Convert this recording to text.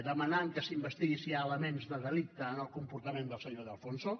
demanant que s’investigui si hi ha elements de delicte en el comportament del senyor de alfonso